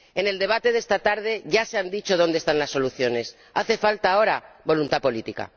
En el debate de esta tarde ya se han dicho dónde están las soluciones, hace falta ahora voluntad política.